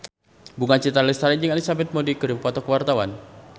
Bunga Citra Lestari jeung Elizabeth Moody keur dipoto ku wartawan